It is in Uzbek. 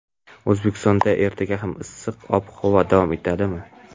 O‘zbekistonda ertaga ham issiq ob-havo davom etadimi?.